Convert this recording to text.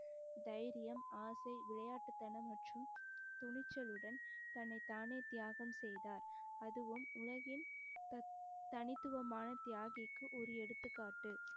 தைரியம் ஆசை விளையாட்டுத்தனம் மற்றும் துணிச்சலுடன் தன்னைத்தானே தியாகம் செய்தார் அதுவும் உலகில் தனித்~ தனித்துவமான தியாகிக்கு ஒரு எடுத்துக்காட்டு